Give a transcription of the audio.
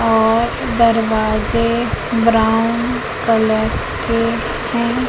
और दरवाजे brown colour के हैं।